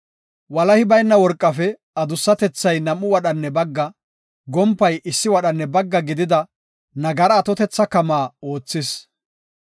Walahi bayna worqafe, adussatethay nam7u wadhanne bagga, gompay issi wadhanne bagga gidida nagara atotetha kamaa oothis.